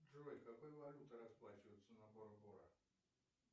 джой какой валютой расплачиваются на бора бора